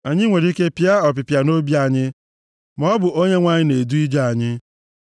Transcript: Anyị nwere ike pịa ọpịpịa nʼobi anyị, maọbụ Onyenwe anyị na-edu ije anyị.